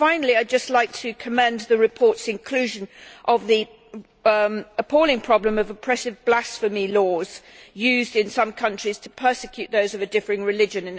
Finally, I would just like to commend the report's inclusion of the appalling problem of oppressive blasphemy laws used in some countries to persecute those of a differing religion.